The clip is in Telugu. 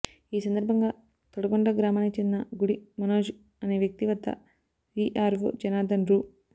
ఈ సందర్భంగా తడగొండ గ్రామానికి చెందిన గుడి మనోజ్ అనే వ్యక్తి వద్ద వీఆర్వో జనార్ధన్ రూ